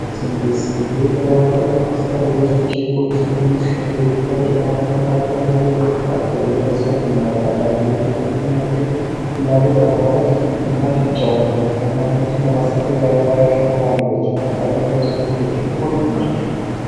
ስንዴ ለዳቦ ለፓስታና ሌሎችን ምርቶች ሲዉል በኢትዮጵያ ደጋና መካከለኛ ቦታወች ይገኛል እንዲሁም በኢትዮጵያ ከፍተኛ ምርት ሲሆን ይህንም ለማሳደግ እንደ አረንጓዴ አሻራ ያሉትን መጠቀመ ተገቢ ነዉ